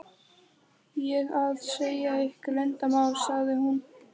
ég að segja ykkur leyndarmál? sagði hún.